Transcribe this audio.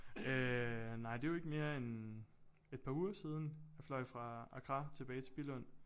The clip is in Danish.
Øh nej det jo ikke mere end et par uger siden jeg fløj fra Accra tilbage til Billund